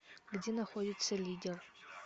где находится лидер